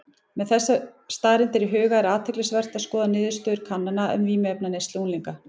Með þessar staðreyndir í huga er athyglisvert að skoða niðurstöður kannana um vímuefnaneyslu unglinga.